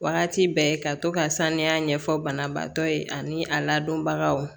Wagati bɛɛ ka to ka saniya ɲɛfɔ banabaatɔ ye ani a ladonbagaw